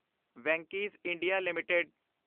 Venky's India LTD